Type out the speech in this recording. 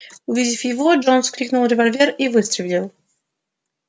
увидев его джонс вскрикнул револьвер и выстрелил